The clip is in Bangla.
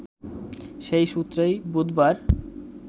সেই সূত্রেই বুধবার